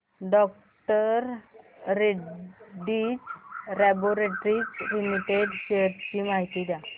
डॉ Reddy's laboratories limited shares ची माहिती द्या